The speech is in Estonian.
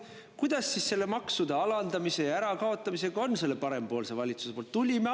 Kuidas siis selle maksude alandamise ja kaotamisega on selle parempoolse valitsuse poolt?